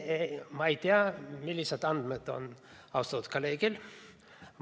Ma ei tea, millised andmed on austatud kolleegil.